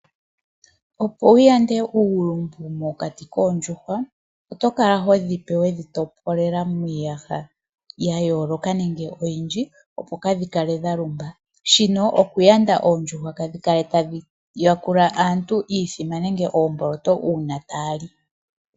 Opo wu yande uulumbu mokati koondjuhwa, oto kala ho dhi pe we dhi topolela miiyaha ya yooloka nenge oyindji, opo kaa dhi kale dha lumba. Shino oku yanda oondjuhwa kaa dhi kale tadhi yakula aantu iuthima nenge oomboloto, uuna taa li.